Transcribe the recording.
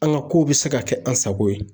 An ka kow bɛ se ka kɛ an sago ye